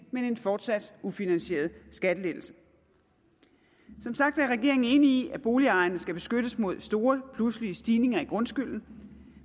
men en fortsat ufinansieret skattelettelse som sagt er regeringen enig i at boligejerne skal beskyttes mod store pludselige stigninger i grundskylden